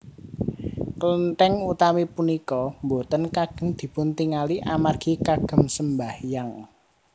Klentèng utami punika boten kagem dipuntingali amargi kagem sembahyang